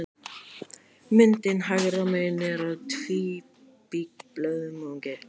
Myndin hægra megin er af tvíkímblöðungi.